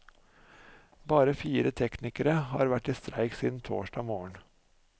Bare fire teknikere har vært i streik siden torsdag morgen.